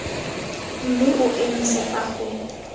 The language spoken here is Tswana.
mme o emise fa go